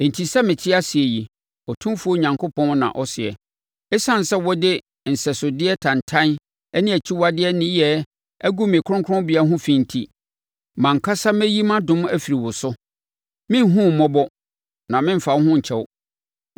Enti sɛ mete ase yi, Otumfoɔ Awurade na ɔseɛ, ɛsiane sɛ wode nsɛsodeɛ tantan ne akyiwadeɛ nneyɛɛ agu me kronkronbea ho fi enti, mʼankasa mɛyi mʼadom afiri wo so; merenhunu wo mmɔbɔ na meremfa wo ho nkyɛ wo.